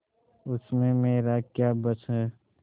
उसमें मेरा क्या बस है